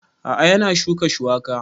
A'a yana shuka shuwaka